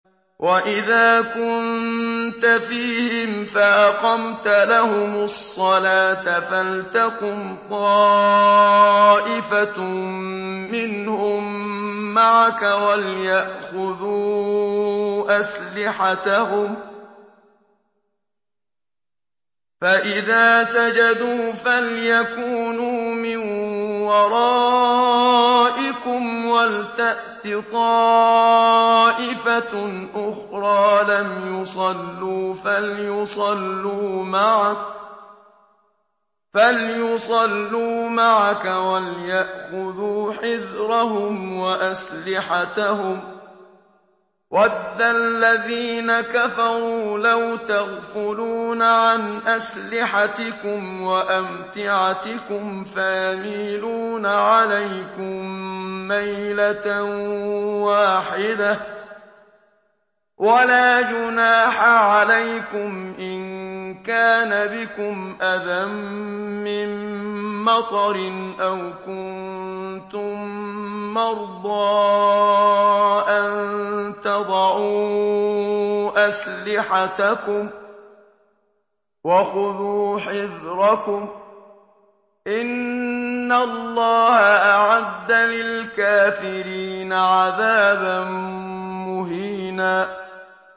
وَإِذَا كُنتَ فِيهِمْ فَأَقَمْتَ لَهُمُ الصَّلَاةَ فَلْتَقُمْ طَائِفَةٌ مِّنْهُم مَّعَكَ وَلْيَأْخُذُوا أَسْلِحَتَهُمْ فَإِذَا سَجَدُوا فَلْيَكُونُوا مِن وَرَائِكُمْ وَلْتَأْتِ طَائِفَةٌ أُخْرَىٰ لَمْ يُصَلُّوا فَلْيُصَلُّوا مَعَكَ وَلْيَأْخُذُوا حِذْرَهُمْ وَأَسْلِحَتَهُمْ ۗ وَدَّ الَّذِينَ كَفَرُوا لَوْ تَغْفُلُونَ عَنْ أَسْلِحَتِكُمْ وَأَمْتِعَتِكُمْ فَيَمِيلُونَ عَلَيْكُم مَّيْلَةً وَاحِدَةً ۚ وَلَا جُنَاحَ عَلَيْكُمْ إِن كَانَ بِكُمْ أَذًى مِّن مَّطَرٍ أَوْ كُنتُم مَّرْضَىٰ أَن تَضَعُوا أَسْلِحَتَكُمْ ۖ وَخُذُوا حِذْرَكُمْ ۗ إِنَّ اللَّهَ أَعَدَّ لِلْكَافِرِينَ عَذَابًا مُّهِينًا